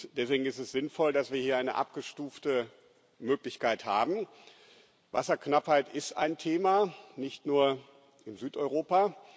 Deswegen ist es sinnvoll, dass wir hier eine abgestufte Möglichkeit haben. Wasserknappheit ist ein Thema nicht nur in Südeuropa.